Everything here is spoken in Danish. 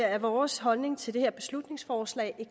er vores holdning til det her beslutningsforslag